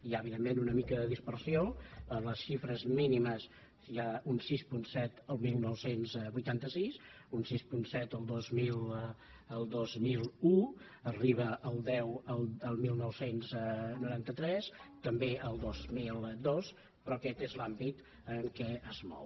hi ha evidentment una mica de dispersió per les xifres mínimes hi ha un sis coma set el dinou vuitanta sis un sis coma set el dos mil un arriba al deu el dinou noranta tres també el dos mil dos però aquest és l’àmbit en què es mou